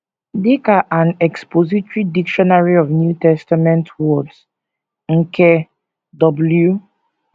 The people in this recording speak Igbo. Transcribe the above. Dị ka An Expository Dictionary of New Testament Words, nke W.